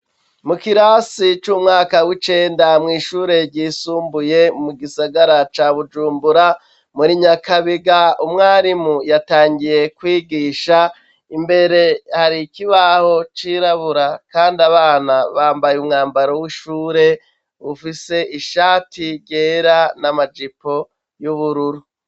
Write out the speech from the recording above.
Mu kirasi c'umwaka w'Icenda mw'Ishure ryisumbuye mu gisagara ca Bujumbura, muri nyakabiga umwarimu yatangiye kwigisha, imbere hari ikibaho c'irabura kandi abana bambaye umwambaro w'ishure bufise ishati ryera n'amajipo y'ubururu